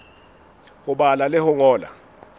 ho bala le ho ngola